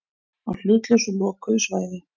Á hlutlausu lokuðu svæði.